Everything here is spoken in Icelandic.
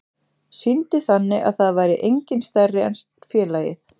Sýndi þannig að það væri enginn stærri en félagið.